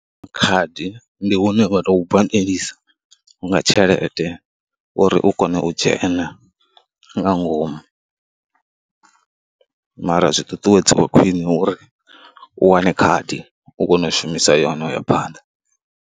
Khadi, ndi hune vha tou badelisa nga tshelede uri u kone u dzhena nga ngomu mara zwi ṱuṱuwedziwa khwine uri u wane khadi u kone u shumisa yone u ya phanḓa.